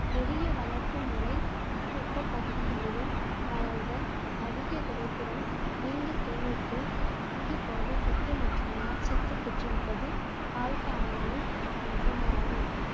எளிய வளர்ப்பு முறை அதி வெப்ப பகுதிகளிலும் வளர்தல் அதிக விளைத்திறன் நீண்ட சேமிப்பு அதிக புரதச்சத்து மற்றும் நார்ச்சத்து பெற்றிருப்பது பால்காளானின் சிறப்பு அம்சங்களாகும்